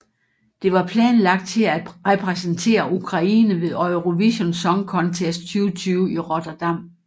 Det var planlagt til at repræsentere Ukraine ved Eurovision Song Contest 2020 i Rotterdam